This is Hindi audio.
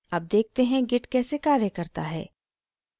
अब देखते हैं git कैसे कार्य करता है